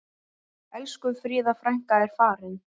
Elsku Fríða frænka er farin.